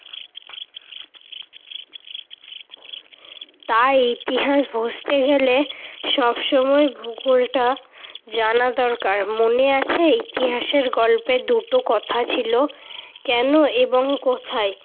তাই ইতিহাস বুঝতে গেলে সবসময় ভূগোলটা জানা দরকার। মনে আছে ইতিহাসের গল্পে দুটো কথা ছিল, কেন এবং কোথায়।